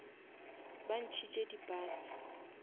ba ntšhitše di bus